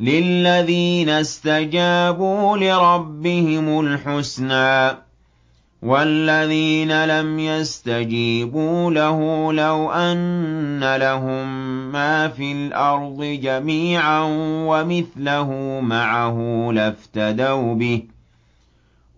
لِلَّذِينَ اسْتَجَابُوا لِرَبِّهِمُ الْحُسْنَىٰ ۚ وَالَّذِينَ لَمْ يَسْتَجِيبُوا لَهُ لَوْ أَنَّ لَهُم مَّا فِي الْأَرْضِ جَمِيعًا وَمِثْلَهُ مَعَهُ لَافْتَدَوْا بِهِ ۚ